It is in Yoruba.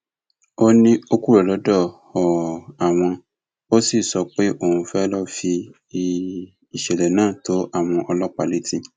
ó ní ó kúrò lọdọ um àwọn ó sì sọ pé òun fẹẹ ló fi um ìṣẹlẹ náà tó àwọn ọlọpàá létí